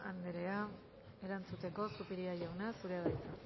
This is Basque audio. anderea erantzuteko zupiria jauna zurea da hitza